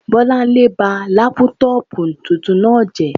Bọ́lánlé ba lápútọ̀pù tuntun náà jẹ́